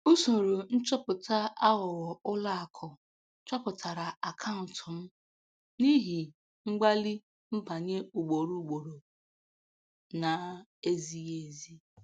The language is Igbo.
Usoro nchọpụta aghụghọ ụlọakụ chọpụtara akaụntụ m n’ihi mgbalị nbanye ugboro ugboro na-ezighi ezi.